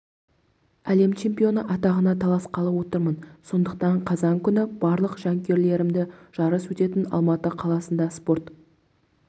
әлем чемпионы атағына таласқалы отырмын сондықтан қазан күні барлық жанкүйерлеріміді жарыс өтетін алматы қаласында спорт